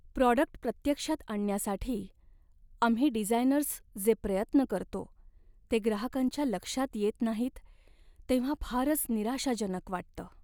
Product प्रत्यक्षात आणण्यासाठी आम्ही डिझायनर्स जे प्रयत्न करतो ते ग्राहकांच्या लक्षात येत नाहीत तेव्हा फारच निराशाजनक वाटतं.